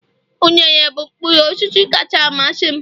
unere bụ mkpụrụ osisi kacha amasị m